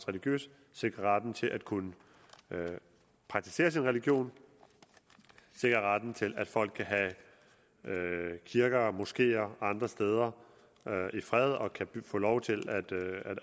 religiøst sikrer retten til at kunne praktisere sin religion sikrer retten til at folk kan have kirker og moskeer og andre steder i fred og kan få lov til